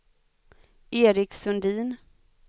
Erik Sundin